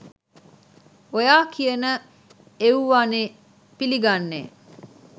ඔයා කියන එව්වානේ පිලි ගන්නේ